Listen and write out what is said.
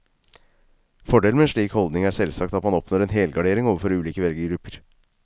Fordelen med en slik holdning er selvsagt at man oppnår en helgardering overfor ulike velgergrupper.